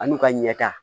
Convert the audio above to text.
Ani'u ka ɲɛta